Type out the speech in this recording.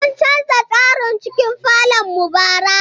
Mun canza tsarin cikin falon mu bara.